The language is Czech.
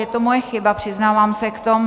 Je to moje chyba, přiznávám se k tomu.